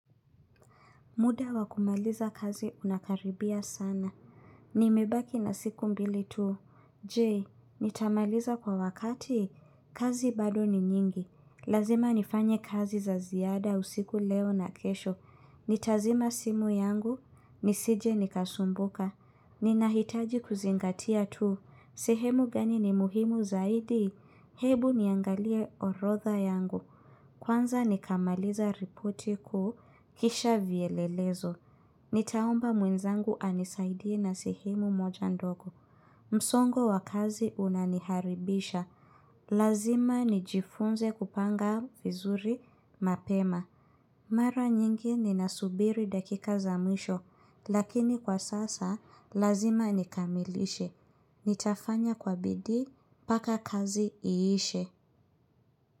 Muda wa kumaliza kazi unakaribia sana. Nimebaki na siku mbili tu. Jee, nitamaliza kwa wakati. Kazi bado ni nyingi. Lazima nifanye kazi za ziada usiku leo na kesho. Nitazima simu yangu. Nisije nikasumbuka. Ninahitaji kuzingatia tu. Sehemu gani ni muhimu zaidi. Hebu niangalia orodha yangu. Kwanza nikamaliza ripoti kuu. Kisha vielelezo, nitaomba mwenzangu anisaidie na sehemu moja ndogo msongo wa kazi unaniharibisha Lazima nijifunze kupanga vizuri mapema Mara nyingi ninasubiri dakika za mwisho, lakini kwa sasa, lazima nikamilishe Nitafanya kwa bidii, paka kazi iishe.